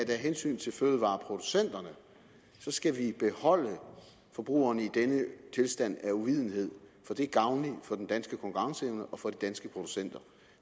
af hensyn til fødevareproducenterne skal holde forbrugerne i denne tilstand af uvidenhed for det er gavnligt for den danske konkurrenceevne og for de danske producenter